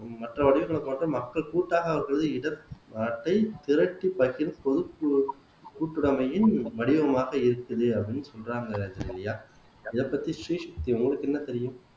மற்ற வடிவங்களை பார்த்து மக்கள் கூட்டாக வருவது இதற் பொதுக்குழு கூட்டுறமையின் வடிவமாக இருக்குது அப்படின்னு சொல்றாங்க ஜெனிலியா அதைப்பத்தி ஸ்ரீசக்தி உங்களுக்கு என்ன தெரியும்